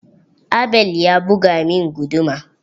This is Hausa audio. Abel ya buga min guduma.